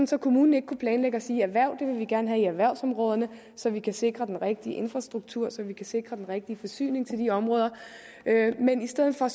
så kommunen ikke kunne planlægge og sige erhverv vil vi gerne have i erhvervsområderne så vi kan sikre den rigtige infrastruktur og så vi kan sikre den rigtige forsyning til de områder i stedet for